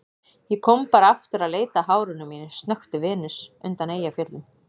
Ég kom bara aftur að leita að hárinu mínu, snökti Venus undan Eyjafjöllum.